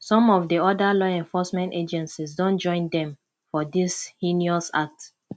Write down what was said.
some of oda law enforcement agencies don join dem for dis heinous act